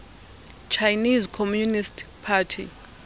chinese communist party